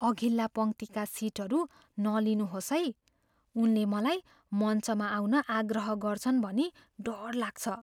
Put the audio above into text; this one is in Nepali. अघिल्ला पङ्क्तिका सिटहरू नलिनुहोस् है। उनले मलाई मञ्चमा आउन आग्रह गर्छन् भनी डर लाग्छ।